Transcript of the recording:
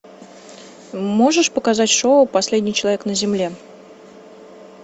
можешь показать шоу последний человек на земле